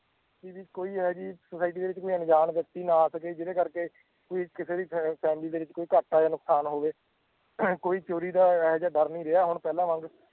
ਕਿ ਵੀ ਕੋਈ ਇਹ ਜਿਹੀ society ਦੇ ਵਿੱਚ ਕੋਈ ਅਣਜਾਣ ਵਿਅਕਤੀ ਨਾ ਸਕੇ ਜਿਹਦੇ ਕਰਕੇ ਕੋਈ ਕਿਸੇ ਦੀ ਫੈ~ family ਦੇ ਵਿੱਚ ਕੋਈ ਘਾਟਾ ਜਾਂ ਨੁਕਸਾਨ ਹੋਵੇ ਕੋਈ ਚੋਰੀ ਦਾ ਇਹ ਜਿਹਾ ਡਰ ਨਹੀਂ ਰਿਹਾ ਹੁਣ ਪਹਿਲਾਂ ਵਾਂਗ